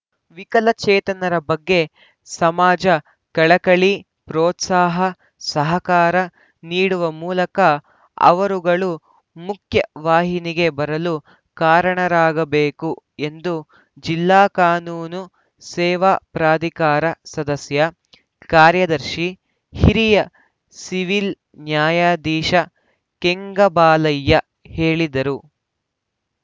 ವಿಕಲಚೇತನರ ಬಗ್ಗೆ ಸಮಾಜ ಕಳಕಳಿ ಪ್ರೋತ್ಸಾಹ ಸಹಕಾರ ನೀಡುವ ಮೂಲಕ ಅವರುಗಳು ಮುಖ್ಯ ವಾಹಿನಿಗೆ ಬರಲು ಕಾರಣರಾಗ ಬೇಕು ಎಂದು ಜಿಲ್ಲಾ ಕಾನೂನು ಸೇವಾ ಪ್ರಾಧಿಕಾರ ಸದಸ್ಯ ಕಾರ್ಯದರ್ಶಿ ಹಿರಿಯ ಸಿವಿಲ್‌ ನ್ಯಾಯಾಧೀಶ ಕೆಂಗಬಾಲಯ್ಯ ಹೇಳಿದರು